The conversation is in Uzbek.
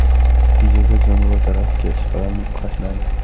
Videoda jonivor daraxtga ishqalanib, qashinadi.